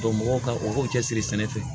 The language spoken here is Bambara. mɔgɔw ka u k'u cɛsiri sɛnɛ kɛ